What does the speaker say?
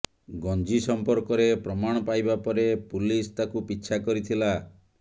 ଗଞ୍ଜିିି ସମ୍ପର୍କରେ ପ୍ରମାଣ ପାଇବା ପରେ ପୁଲିସ ତାକୁ ପିଛା କରିଥିଲା